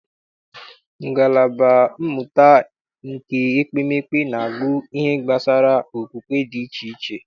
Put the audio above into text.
Ngalaba mmụta nke ekpemekpe na-agụ ihe gbasara okpukpe dị iche iche.